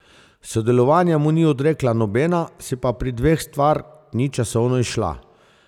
Sodelovanja mu ni odrekla nobena, se pa pri dveh stvar ni časovno izšla.